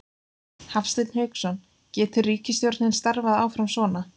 Hafsteinn Hauksson: Getur ríkisstjórnin starfað áfram svona?